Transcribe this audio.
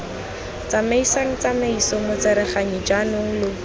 tsamaisang tsamaiso motsereganyi jaanong lo